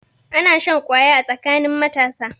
Ana shan kwaya a tsakanin matasa.